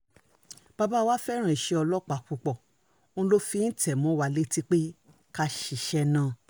bàbá um wa fẹ́ràn iṣẹ́ ọlọ́pàá púpọ̀ òun ló fi ń tẹ̀ ẹ́ mọ́ wa létí pé ká ṣiṣẹ́ um náà